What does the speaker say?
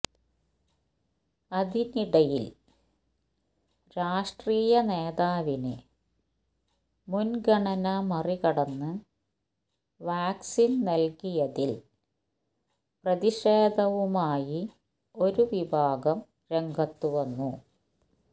അതിനടിയിൽ രാഷ്ട്രീയ നേതാവിന് മുൻഗണന മറികടന്ന് വാക്സിൻ നൽകിയതിൽ പ്രതിഷേധവുമായി ഒരു വിഭാഗം രംഗത്ത് വന്നു